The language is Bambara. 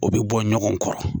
O be bɔ ɲɔgɔn kɔrɔ.